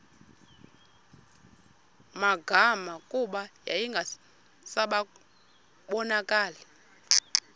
magama kuba yayingasabonakali